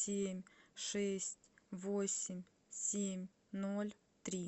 семь шесть восемь семь ноль три